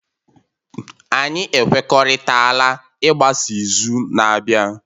anyị ekwekọrịtala ịgbasa izu na-abịa